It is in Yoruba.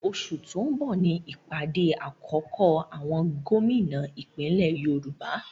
Oṣù tó ń bọ̀ ní ìpàdé àkọ́kọ́ àwọn Gómìnà ìpínlẹ̀ Yorùbá